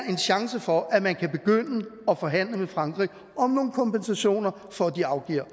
en chance for at man kan begynde at forhandle med frankrig om nogle kompensationer for at de afgiver